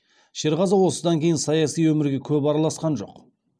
шерғазы осыдан кейін саяси өмірге көп араласқан жоқ